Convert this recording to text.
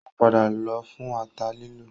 Ó padà lọ fún ata lílọ